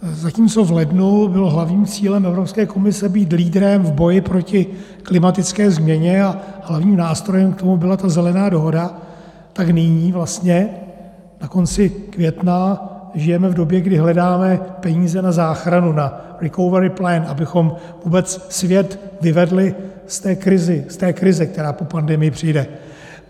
Zatímco v lednu bylo hlavním cílem Evropské komise být lídrem v boji proti klimatické změně a hlavním nástrojem k tomu byla ta Zelená dohoda, tak nyní vlastně na konci května žijeme v době, kdy hledáme peníze na záchranu, na recovery plant, abychom vůbec svět vyvedli z té krize, která po pandemii přijde.